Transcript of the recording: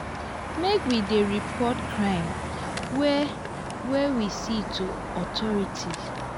make we dey report crime wey wey we see to authorities.